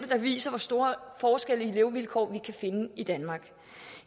der viser hvor store forskelle i levevilkår vi kan finde i danmark